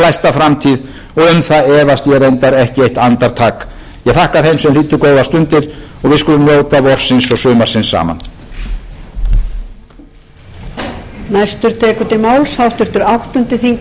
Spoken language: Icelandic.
glæsta framtíð og um það efast ég reyndar ekki eitt andartak ég þakka þeim sem hlýddu góðar stundir og við skulum njóta vorsins og sumarsins saman